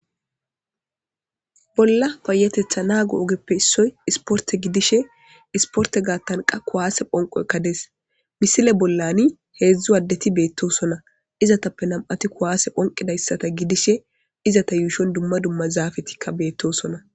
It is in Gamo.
Bolla payatetha nago oge gidishe issoy isporte gatha qas kuwase phonqoyka des misiley bollan hedzu adeti betosona izetape nam'ati kuwase phonqidayta gidishe izeta yuushon dumma dumma zafeyika de'osona